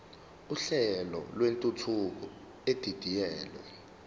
uhlelo lwentuthuko edidiyelwe